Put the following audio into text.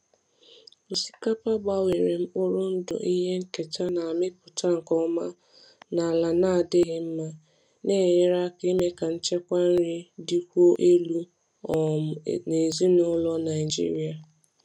Osikapa gbanwere mkpụrụ ndụ ihe nketa na-amịpụta nke ọma n’ala na-adịghị mma, na-enyere aka ime ka nchekwa nri dịkwuo elu um n’ezinụlọ Naijiria.